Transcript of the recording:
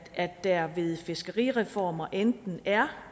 at der ved fiskerireformer enten er